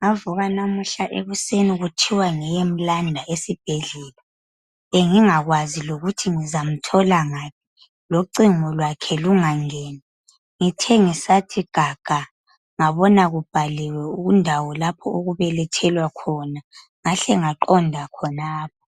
ngavuka namuhla ekuseni kuthiwa ngiyemlanda esibhedlela. Bengingakwazi lokuthi ngizamthola ngaphi, locingo lwakhe lungangeni. Ngithe ngisathi gaga, ngabona kubhaliwe ukundawo lapho okubelethelwa khona, ngahle ngaqonda khonapho.